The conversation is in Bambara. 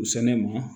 U sɛnɛ ma